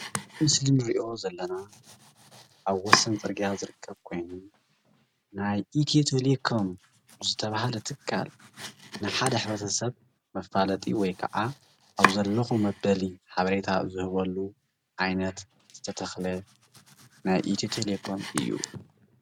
እዚ ምስሊ አንሪኦ ዘለና ኣብ ወሰን ፅርግያ ዝርከብ ኮይኑ ናይ ኢትዮ - ቴሌኮም ዝተባሃለ ትካል ንሓደ ሕብረተሰብ መፋለጢ ወይ ከዓ ኣብዚ ኣለኹ መበሊ ሓበሬታ ዝህበሉ ዓይነት ዝተተኸለ ናይ ኢትዮ - ቴለኮም እዩ፡፡